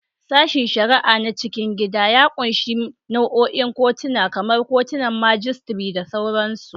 Sashen shari'a na cikin gida ya ƙunshi nau'ikan kotuna, kamar kotunan majistare da sauransu.